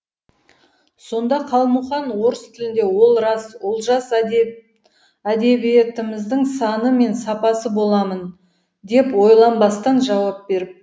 сонда қалмұқан орыс тілінде ол рас олжас әдебиетіміздің саны мен сапасы боламын деп ойланбастан жауап беріпті